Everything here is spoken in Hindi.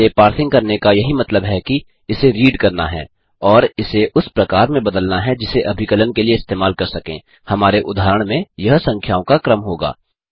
इसे पार्सिंग करने का यही मतलब है कि इसे रीड करना है और इसे उस प्रकार में बदलना है जिसे अभिकलन के लिए इस्तेमाल कर सकें - हमारे उदाहरण में यह संख्याओं का क्रम होगा